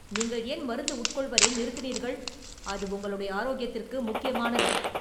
நீங்கள் ஏன் மருந்து உட்கொள்வதை நிறுத்தினீர்கள், அது உங்களுடைய ஆரோக்கியத்திற்கு முக்கியமானது!